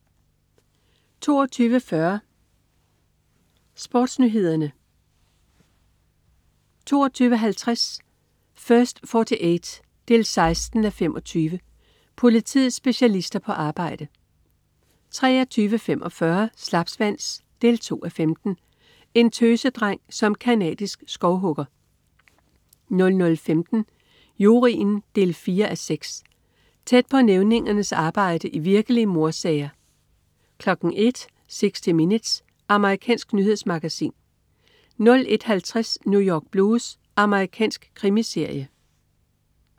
22.40 SportsNyhederne 22.50 First 48 16:25. Politiets specialister på arbejde 23.45 Slapsvans 2:15. En tøsedreng som canadisk skovhugger 00.15 Juryen 4:6. Tæt på nævningernes arbejde i virkelige mordsager 01.00 60 Minutes. Amerikansk nyhedsmagasin 01.50 New York Blues. Amerikansk krimiserie